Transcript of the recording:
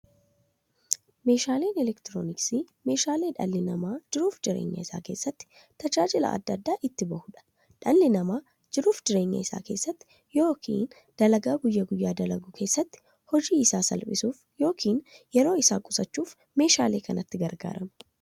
Meeshaaleen elektirooniksii meeshaalee dhalli namaa jiruuf jireenya isaa keessatti, tajaajila adda addaa itti bahuudha. Dhalli namaa jiruuf jireenya isaa keessatti yookiin dalagaa guyyaa guyyaan dalagu keessatti, hojii isaa salphissuuf yookiin yeroo isaa qusachuuf meeshaalee kanatti gargaarama.